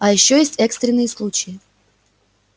а ещё есть экстренные случаи